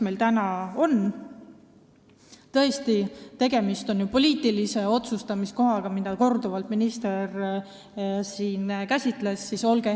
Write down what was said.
Tõesti, tegemist on ju poliitilise otsustamise kohaga, nagu minister siin korduvalt ütles.